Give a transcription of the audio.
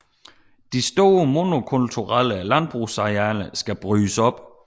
De store monokulturelle landbrugsarealer skal brydes op